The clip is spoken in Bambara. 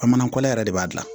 Bamanankan yɛrɛ de b'a dilan